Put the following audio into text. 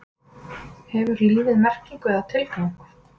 hefur lífið merkingu eða tilgang